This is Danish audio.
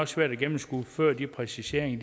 svært at gennemskue før de præciseringer